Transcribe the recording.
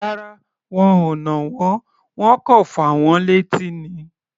Rárá, wọn ò nà wọ́n. Wọ́n kọ̀ fà wọ́n létí ni.